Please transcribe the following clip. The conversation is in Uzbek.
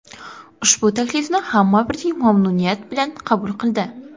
Ushbu taklifni hamma birdek mamnuniyat bilan qabul qildi.